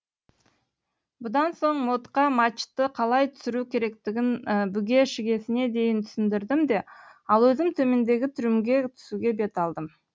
бұдан соң модқа мачты қалай түсіру керектігін бүге шігесіне дейін түсіндірдім де ал өзім төмендегі трюмге түсуге бет алдым